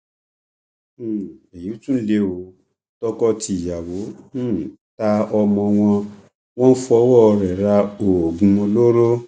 um èyí tún lé o tọkọtìyàwó um ta ọmọ wọn wọn fọwọ ẹ ra oògùn olóró